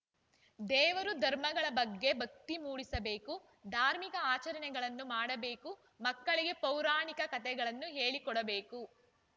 ದೇವರು ಧರ್ಮಗಳ ಬಗ್ಗೆ ಭಕ್ತಿ ಮೂಡಿಸಬೇಕು ಧಾರ್ಮಿಕ ಆಚರಣೆಗಳನ್ನು ಮಾಡಬೇಕು ಮಕ್ಕಳಿಗೆ ಪೌರಾಣಿಕ ಕಥೆಗಳನ್ನು ಹೇಳಿಕೊಡಬೇಕು